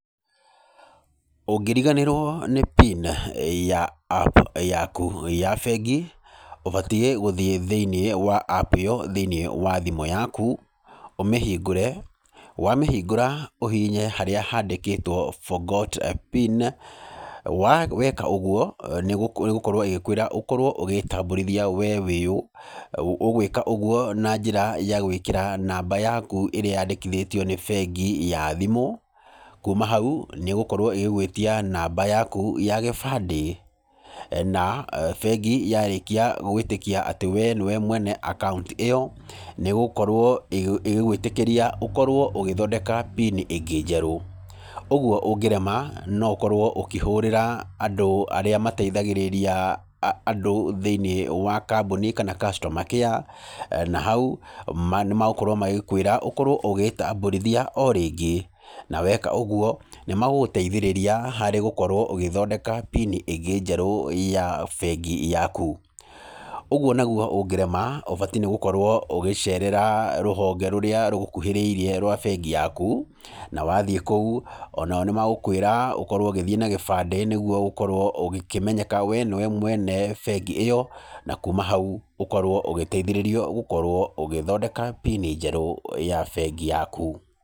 Ũngĩriganĩrwo nĩ PIN ya App yaku ya bengi, ũbatiĩ gũthiĩ thĩinĩ wa App thĩinĩ wa thimũ yaku ũmĩhingũre. Wamĩhingũra ũhihinye harĩa haandĩkĩtwo Forgot PIN. Weka ũguo nĩ ĩgũkorwo ĩgĩkwĩra wĩtambũrithie we wĩ ũũ, ũgwĩka ũguo na njĩra ya gwĩkĩra namba yakũ ĩrĩa yaandĩkithĩtio nĩ bengi ya thimũ. Kuuma hau nĩ ĩgũkorwo ĩgĩgũĩtia namba yaku ya gĩbandĩ na bengi yarĩkia gũgĩĩtĩkia atĩ we nĩwe mwene akauntĩ ĩyo, nĩ ĩgũkorwo ĩgĩgwĩtĩkĩria ũkorwo ũgĩthondeka PIN ĩngĩ njerũ. Ũguo ũngĩrema no ũkorwo ũkĩhũrĩra andũ arĩa mateithagĩrĩria andũ thĩinĩ wa kambuni kana Customer Care, na hau nĩ megũkorwo magĩkwĩra wĩtambũrithie o rĩngĩ. Na weka ũguo nĩ megũkorwo magĩgũteithĩrĩrai gũthondeka PIN ĩngĩ ya bengi yaku. Ũguo naguo ũngĩrema ũbatiĩ gũkorwo ũgĩceerera rũhonge rũrĩa rũkuhĩrĩirie rwa bengi yaku. Na wathiĩ kũu ona o nĩ megũkorwo magĩkwĩra ũthiĩ na gĩbandĩ nĩguo ũkorwo ũkĩmenyeka atĩ we nĩwe mwene bengi ĩyo. Na kuma hau ũkorwo ũgĩteithĩrĩrio gũthondeka PIN njerũ ya bengi yaku.